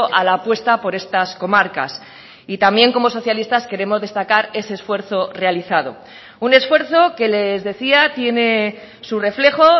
a la apuesta por estas comarcas y también como socialistas queremos destacar ese esfuerzo realizado un esfuerzo que les decía tiene su reflejo